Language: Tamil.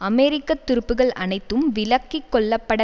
அமெரிக்க துருப்புக்கள் அனைத்தும் விலக்கிக்கொள்ளப்பட